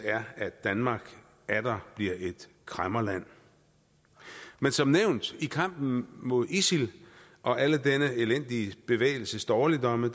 at danmark atter bliver et kræmmerland men som nævnt i kampen mod isil og alle denne elendige bevægelses dårligdomme